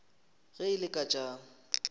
ge e le ka tša